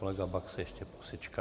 Kolega Baxa ještě posečká.